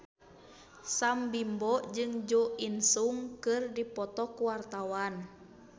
Sam Bimbo jeung Jo In Sung keur dipoto ku wartawan